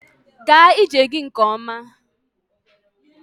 Gaa ije gị nke ọma.